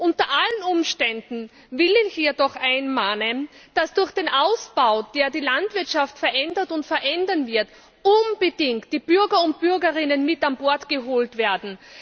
Unter allen Umständen will ich hier doch einmahnen, dass durch den Ausbau, der die Landwirtschaft verändert und verändern wird, unbedingt die Bürger und Bürgerinnen mit an Bord geholt werden.